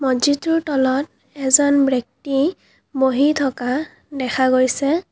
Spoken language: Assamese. মছজিদটোৰ তলত এজান ব্ৰেক্তি বহি থকা দেখা গৈছে।